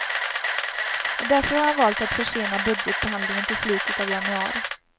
Och därför har han valt att försena budgetbehandlingen till i slutet av januari.